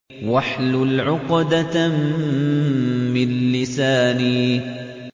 وَاحْلُلْ عُقْدَةً مِّن لِّسَانِي